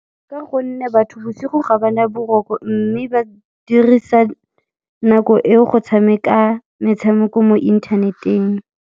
Ka gonne batho bosigo ga ba na boroko mme ba dirisa nako eo go tshameka metshameko mo internet-eng.